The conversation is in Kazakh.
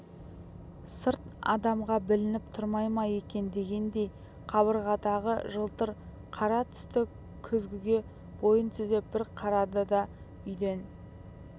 сырт адамға білініп тұрмай ма екен дегендей қабырғадағы жылтыр қара тас күзгіге бойын түзеп бір қарады да үйден